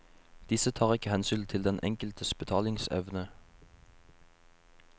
Disse tar ikke hensyn til den enkeltes betalingsevne.